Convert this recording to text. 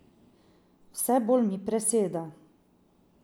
Vse bolj mi preseda.